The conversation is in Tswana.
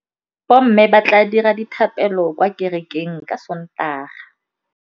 Bommê ba tla dira dithapêlô kwa kerekeng ka Sontaga.